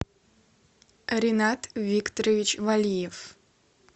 ренат викторович валиев